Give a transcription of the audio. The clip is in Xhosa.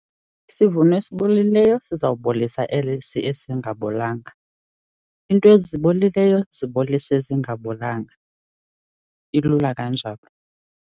Isivuno ezibolileyo sizawubolisa esi singabolanga. Iinto ezibolileyo zibolisa ezingabolanga. ilula kanjalo.